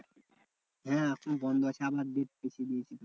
হ্যাঁ এখন বন্ধ আছে আমরা date পিছিয়ে দিয়েছি।